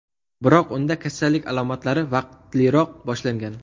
Biroq unda kasallik alomatlari vaqtliroq boshlangan.